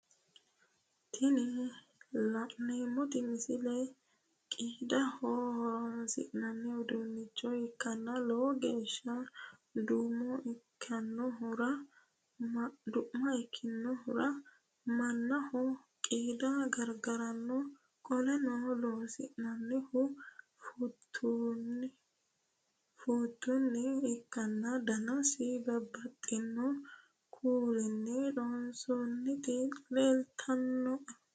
Tinni la'neemoti misile qiidaho horoonsi'nanni uduunicho ikanna lowogeesha du'ma ikinohura manaho qiidda gargaranoha qoleno loonsoonnihuno fuutunni ikanna danasino babbaxino Kuulinni loonsoonnita leelishano.